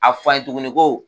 A f'an ye tuguni ko